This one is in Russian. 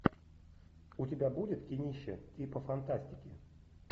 у тебя будет кинище типа фантастики